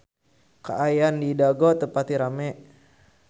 Kaayaan di Dago teu pati rame